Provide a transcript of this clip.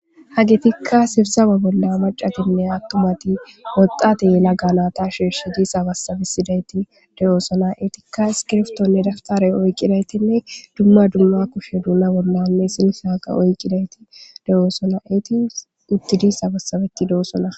Hagitikka sibsama bolla macatinne attumati woxxate laganata shiirshi di sabassabisidayti de7oosona eetikka iskirftonne daftare oyqqidaytinne dumma dumma kushe duuna bollame sinshaaqa oyidaytide7oosona eti uttidi sabassabeti deossona.